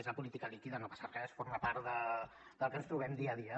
és la política líquida no passa res forma part del que ens trobem dia a dia